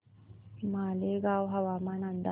मालेगाव हवामान अंदाज